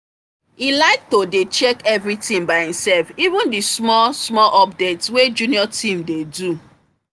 he like to dey check everything by himself even the small smal update wey junior team dey do